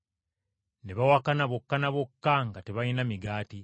Ne boogeraganya bokka ne bokka nti tebalina migaati.